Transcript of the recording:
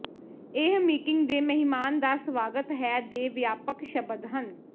ਇਹ ਮੀਟਿੰਗ ਦੇ ਮਹਿਮਾਨ ਦਾ ਸਵਾਗਤ ਹੈ ਦੇ ਵਿਆਪਕ ਸ਼ਬਦ ਹਨ